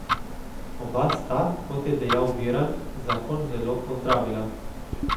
Oba sta, kot je dejal Virant, zakon zelo pozdravila.